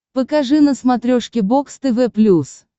покажи на смотрешке бокс тв плюс